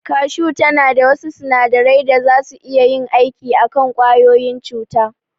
Kashu tana da wasu sunadarai da zasu iya yin aiki a kan ƙwayoyin cuta.